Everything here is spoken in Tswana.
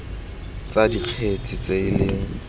tsa dikgetse tse e leng